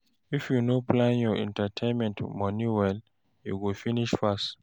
If you no plan your entertainment money well, e go finish fast